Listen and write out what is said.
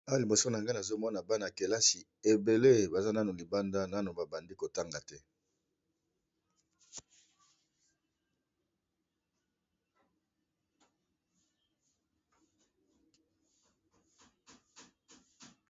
awa liboso na nga nazomona bana kelasi ebele baza nanu libanda nano babandi kotanga te